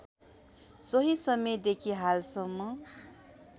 सोही समयदेखि हालसम्म